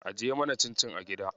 Ajiye mana cincin a gida.